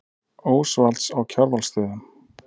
Ósvalds á Kjarvalsstöðum.